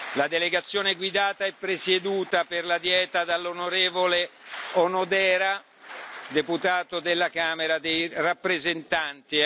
La delegazione è guidata e presieduta per la Dieta dall'onorevole Onodera, deputato della Camera dei rappresentanti.